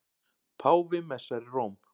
Páfi messar í Róm